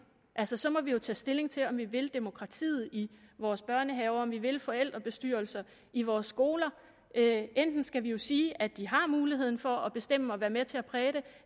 altså så må vi jo tage stilling til om vi vil demokratiet i vores børnehaver og om vi vil forældrebestyrelser i vores skoler enten skal vi jo sige at de har muligheden for at bestemme og være med til at præge det